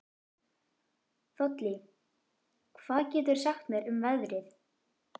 Þollý, hvað geturðu sagt mér um veðrið?